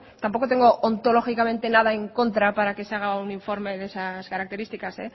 tampoco tengo antológicamente nada en contra para que se haga un informe de esas características